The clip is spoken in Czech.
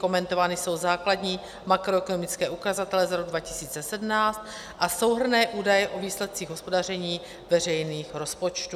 Komentovány jsou základní makroekonomické ukazatele za rok 2017 a souhrnné údaje o výsledcích hospodaření veřejných rozpočtů.